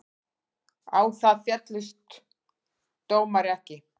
Á það féllst dómari ekki.